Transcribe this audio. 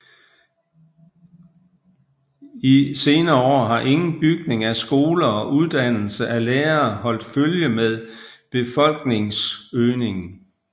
I senere år har ingen bygning af skoler og uddannelse af lærere holdt følge med befolkningsøgningen